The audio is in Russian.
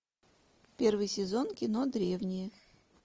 первый сезон кино древние